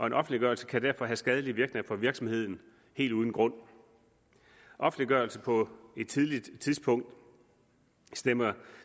en offentliggørelse kan derfor have skadelige virkninger for virksomheden helt uden grund offentliggørelse på et tidligt tidspunkt stemmer